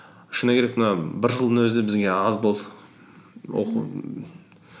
шыны керек мына бір жылдың өзі бізге аз болды